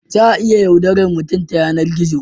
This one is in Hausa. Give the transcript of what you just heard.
Za a iya yaudarar mutum ya yanar gizo